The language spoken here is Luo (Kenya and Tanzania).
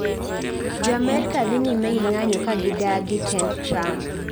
Joamerka dhi nyime gi ng'anyo ka gidagi tend Trump.